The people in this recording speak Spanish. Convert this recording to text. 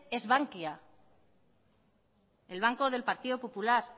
es bankia el banco del partido popular